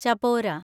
Chapora